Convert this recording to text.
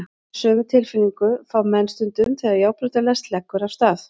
Sömu tilfinningu fá menn stundum þegar járnbrautarlest leggur af stað.